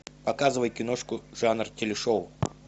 показывай киношку жанр телешоу